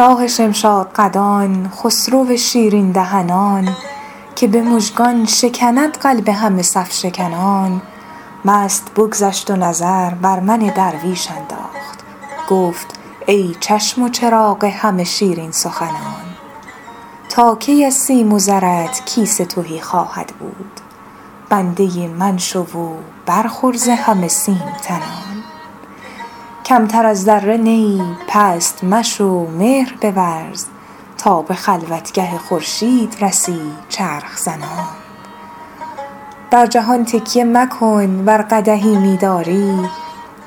شاه شمشادقدان خسرو شیرین دهنان که به مژگان شکند قلب همه صف شکنان مست بگذشت و نظر بر من درویش انداخت گفت ای چشم و چراغ همه شیرین سخنان تا کی از سیم و زرت کیسه تهی خواهد بود بنده من شو و برخور ز همه سیم تنان کمتر از ذره نه ای پست مشو مهر بورز تا به خلوتگه خورشید رسی چرخ زنان بر جهان تکیه مکن ور قدحی می داری